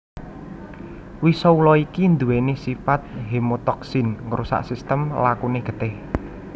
Wisa ula iki nduwèni sipat hemotoksin ngrusak sistem lakune getih